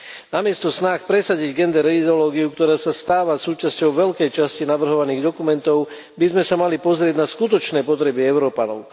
Namiesto sa snáh presadiť gender ideológiu, ktorá sa stáva súčasťou veľkej časti navrhovaných dokumentov, by sme sa mali pozrieť na skutočné potreby Európanov.